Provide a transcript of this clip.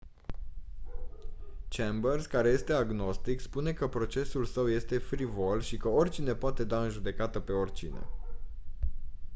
chambers care este agnostic spune că procesul său este «frivol» și că «oricine poate da în judecată pe oricine»